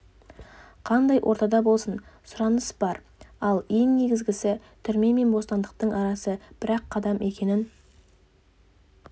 қандай ортада болсын сұраныс бар ал ең негізігісі түрме мен бостандықтың арасы бір-ақ қадам екенін